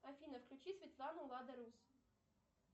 афина включи светлану лада рус